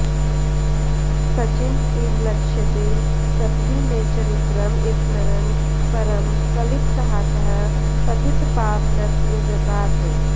सचिन्त इव लक्ष्यसे सपदि मे चरित्रं स्मरन् परं कलितसाहसः पतितपावनत्वव्रतात्